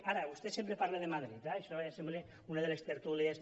ara vostè sempre parla de madrid eh això ja sembla una de les tertúlies